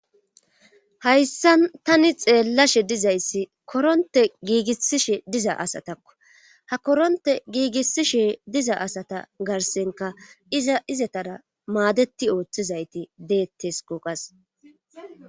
hayssan tani xeellashe dizayssi koronte giigissishe diza asatakko ha koronte giigissishe diza asata garsenka iza izetara maadeti ooththizayti deettes koqas